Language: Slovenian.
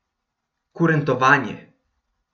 Kurentovanje.